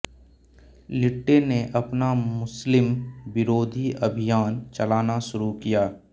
लिट्टे ने अपना मुस्लिम विरोधी अभियान चलाना शुरू किया